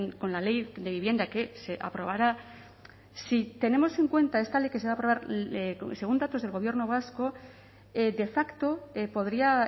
con la ley de vivienda que se aprobará si tenemos en cuenta esta ley que se va a aprobar según datos del gobierno vasco de facto podría